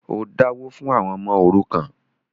o dáwó fún “ àwọn ọmọ òrukàn”.?